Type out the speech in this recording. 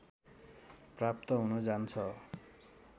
प्राप्त हुन जान्छ